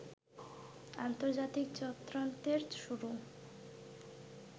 আন্তর্জাতিক চক্রান্তের শুরু